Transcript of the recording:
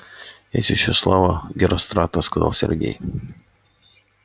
есть ещё слава герострата сказал сергей